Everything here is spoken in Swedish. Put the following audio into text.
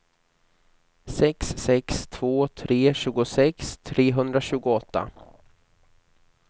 sex sex två tre tjugosex trehundratjugoåtta